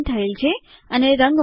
તેથી લખાણ હવે હાઇપરલિન્ક છે